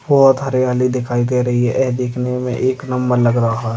बहुत हरियाली दिखाई दे राही है। ये देखने मे एक नंबर लग रहा --